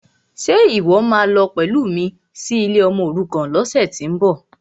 Ṣe ìwọ́ máa lọ pẹ̀lú mi sí ilé ọmọòrukàn lọ́sẹ̀tíbọ̀?